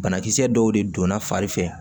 Banakisɛ dɔw de donna fari fɛ